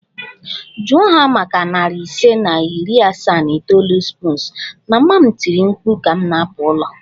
Jụọ ha maka narị ise na iri asaa na itoolu spoons! Mama m tiri mkpu ka m na-apụ n'ụlọ